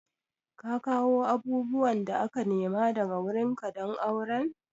Ka kawo abubuwan da aka nema daga wurin ka don auren?